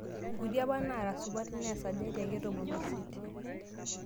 Nkuti apa ake naara sapukin, naa esajati akae etomonoisiet